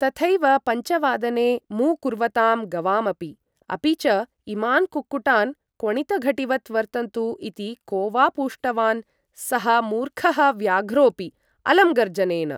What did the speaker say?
तथैव पञ्चवादने मू कुर्वतां गवामपि। अपि च, इमान् कुक्कुटान् क्वणितघटीवत् वर्तन्तु इति को वा पूष्टवान्? सः मूर्खः व्याघ्रोपि! अलं गर्जनेन!